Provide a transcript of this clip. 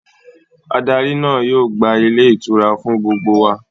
Adarí náà yóò gba Ilé ìtura fún gbogbo wa